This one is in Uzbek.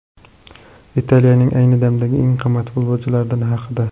Italiyaning ayni damdagi eng qimmat futbolchilari haqida.